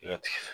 I bɛ